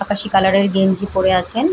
আকাশী কালার -এর গেঞ্জি পরে আছেন।